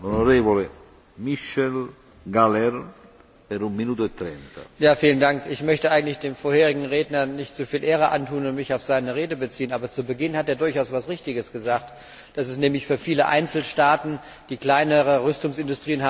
Herr Präsident! Ich möchte eigentlich dem vorherigen Redner nicht so viel Ehre antun und mich auf seine Rede beziehen, aber zu Beginn hat er durchaus etwas Richtiges gesagt dass es nämlich für viele Einzelstaaten, die kleinere Rüstungsindustrien haben, sehr kostspielig ist, wirtschaftlich zu produzieren.